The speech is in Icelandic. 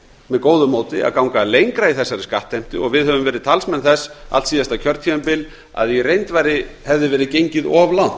með góðu móti að ganga lengra í þessari skattheimtu og við höfum verið talsmenn þess allt síðasta kjörtímabil að í reynd hefði verið gengið of langt